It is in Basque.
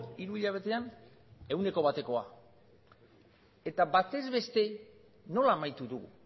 hiru hilabetean ehuneko batekoa eta batez beste nola amaitu dugu